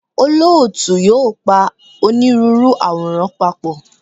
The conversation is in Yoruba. Olóòtú yóò pa onírúurú àwòrán papọ̀.